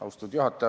Austatud juhataja!